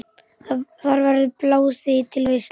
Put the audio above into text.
Þar verður blásið til veislu.